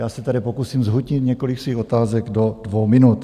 Já se tady pokusím zhutnit několik svých otázek do dvou minut.